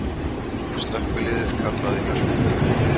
Slökkviliðið kallað í Hörpu